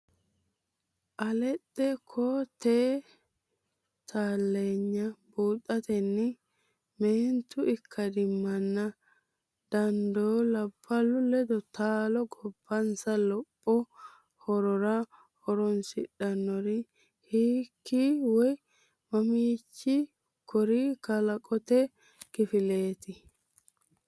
alaxxe koo-teete taalloonye buuxatenni meentu ikkadimmanna dan- doo labballu ledo taalo gobbansa lopho horora horoonsidhinori hiiki woy maamichi kori kalqete kifileeti?.